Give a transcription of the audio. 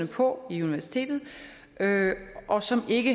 på universitetet og som ikke